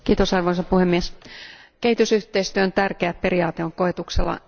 Arvoisa puhemies, kehitysyhteistyön tärkeä periaate on koetuksella.